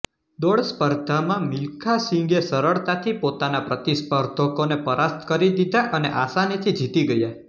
દોડ સ્પર્ધામાં મિલ્ખા સિંઘે સરળતાથી પોતાના પ્રતિસ્પર્ધકોને પરાસ્ત કરી દીધા અને આસાનીથી જીતી ગયા